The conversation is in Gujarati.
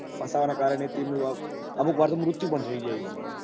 ફસાવા ને કારણે અમુક વાર તો મૃત્યુ પણ થઇ જાય